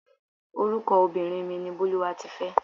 Orúkọ obìnrin mi ni Bólúwatifẹ́.